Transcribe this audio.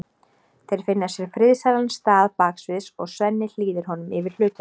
Þeir finna sér friðsælan stað baksviðs og Svenni hlýðir honum yfir hlutverkið.